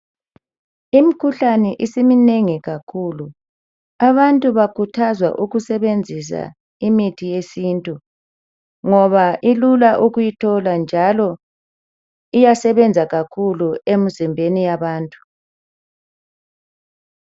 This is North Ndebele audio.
Imkhuhlani isiminengi kakhulu abantu bakhuthazwa ukusebenzisa ithi yesintu ngoba ilula ukuyithola njalo iyasebenza kakhulu emzimbeni yabantu.